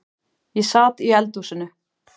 Ég sat í eldhúsinu.